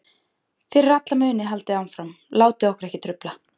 Fyrir alla muni haldið áfram, látið okkur ekki trufla.